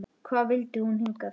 Hvað vildi hún hingað?